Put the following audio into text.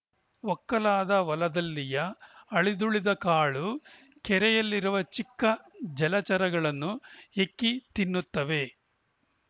ಒಕ್ಕಲಾದ ಹೊಲದಲ್ಲಿಯ ಅಳಿದುಳಿದ ಕಾಳು ಕೆರೆಯಲ್ಲಿರುವ ಚಿಕ್ಕ ಜಲಚರಗಳನ್ನು ಹೆಕ್ಕಿ ತಿನ್ನುತ್ತವೆ